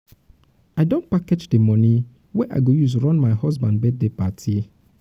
i don package di moni wey i go use run my husband birthday party.